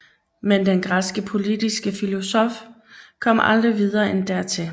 Men den græske politiske filosofi kom aldrig videre end dertil